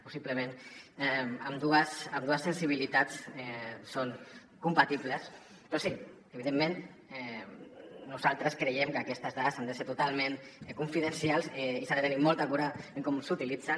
possiblement ambdues sensibilitats són compatibles però sí evidentment nosaltres creiem que aquestes dades han de ser totalment confidencials i s’ha de tenir molta cura en com s’utilitzen